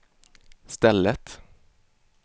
stället